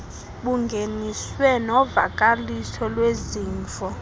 bungeniswe novakaliso lwezimvo